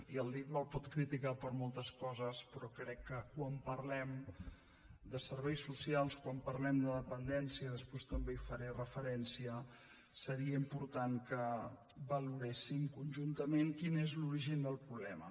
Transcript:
i el dit me’l pot criticar per moltes coses però crec que quan parlem de serveis socials quan parlem de dependència després també hi faré referència seria important que valoréssim conjunta·ment quin és l’origen del problema